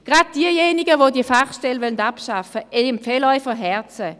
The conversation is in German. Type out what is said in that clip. Gerade denjenigen, die diese Fachstelle abschaffen wollen, empfehle ich von Herzen: